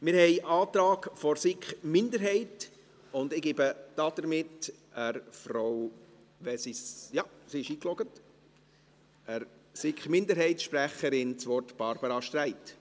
Wir haben einen Antrag der SiK Minderheit, und ich gebe damit Frau Barbara Streit – ja, sie ist eingeloggt – als SiK-Minderheitssprecherin das Wort.